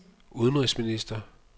udenrigsminister